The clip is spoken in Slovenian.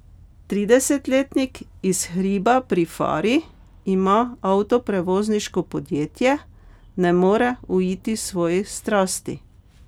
Tridesetletnik iz Hriba pri Fari, ima avtoprevozniško podjetje, ne more uiti svoji strasti.